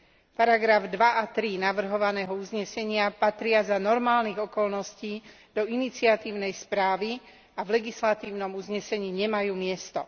Odseky 2 a 3 navrhovaného uznesenia patria za normálnych okolností do iniciatívnej správy a v legislatívnom uznesení nemajú miesto.